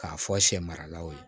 K'a fɔ sɛ maralaw ye